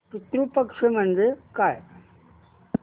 पितृ पक्ष म्हणजे काय